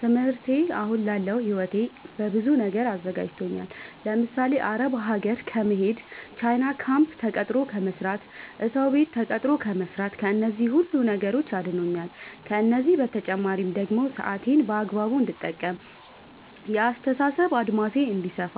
ትምህርቴ አሁን ላለው ህይወቴ በብዙ ነገር አዘጋጅቶኛል። ለምሳሌ፦ አረብ ሀገር ከመሄድ፣ ቻይና ካምፕ ተቀጥሮ ከመስራት፣ እሰው ቤት ተቀጥሮ ከመስራት ከነዚህ ሁሉ ነገሮች አድኖኛል። ከእነዚህ በተጨማሪ ደግሞ ሰአቴን በአግባቡ እንድጠቀም፣ የአስተሳሰብ አድማሴ እንዲሰፋ፣